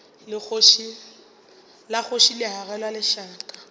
la kgoši le agelwa lešaka